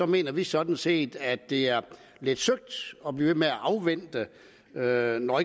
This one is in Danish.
mener vi sådan set at det er lidt søgt at blive ved med at afvente noget når